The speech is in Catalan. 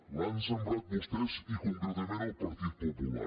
l’han semblat vostès i concretament el partit popular